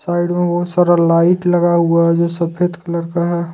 Side में बहुत सारा लाइट लगा हुआ है जो सफेद कलर का है।